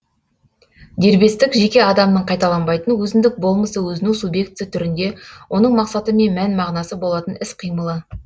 дербестік жеке адамның қайталанбайтын өзіндік болмысы өзінің субъектісі түрінде оның мақсаты мен мән мағынасы болатын іс қимылы